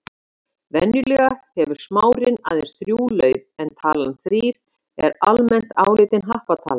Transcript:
Venjulega hefur smárinn aðeins þrjú lauf en talan þrír er almennt álitin happatala.